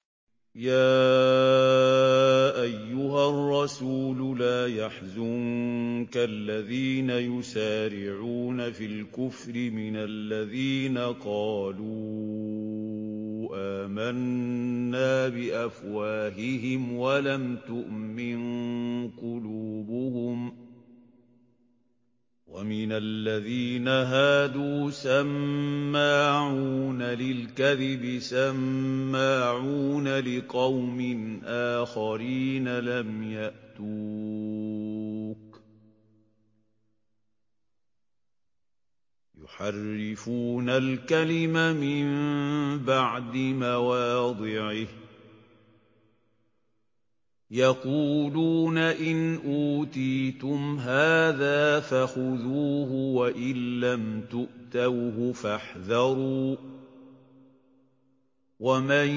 ۞ يَا أَيُّهَا الرَّسُولُ لَا يَحْزُنكَ الَّذِينَ يُسَارِعُونَ فِي الْكُفْرِ مِنَ الَّذِينَ قَالُوا آمَنَّا بِأَفْوَاهِهِمْ وَلَمْ تُؤْمِن قُلُوبُهُمْ ۛ وَمِنَ الَّذِينَ هَادُوا ۛ سَمَّاعُونَ لِلْكَذِبِ سَمَّاعُونَ لِقَوْمٍ آخَرِينَ لَمْ يَأْتُوكَ ۖ يُحَرِّفُونَ الْكَلِمَ مِن بَعْدِ مَوَاضِعِهِ ۖ يَقُولُونَ إِنْ أُوتِيتُمْ هَٰذَا فَخُذُوهُ وَإِن لَّمْ تُؤْتَوْهُ فَاحْذَرُوا ۚ وَمَن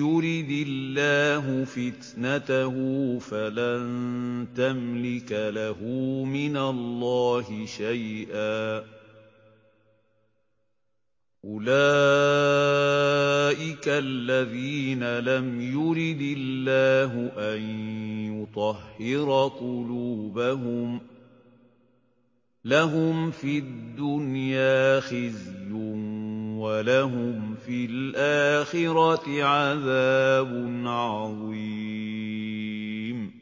يُرِدِ اللَّهُ فِتْنَتَهُ فَلَن تَمْلِكَ لَهُ مِنَ اللَّهِ شَيْئًا ۚ أُولَٰئِكَ الَّذِينَ لَمْ يُرِدِ اللَّهُ أَن يُطَهِّرَ قُلُوبَهُمْ ۚ لَهُمْ فِي الدُّنْيَا خِزْيٌ ۖ وَلَهُمْ فِي الْآخِرَةِ عَذَابٌ عَظِيمٌ